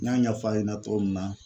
N y'a ɲɛfɔ a yɛna cogo min na